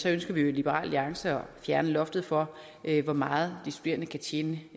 ønsker vi jo i liberal alliance at fjerne loftet for hvor meget de studerende kan tjene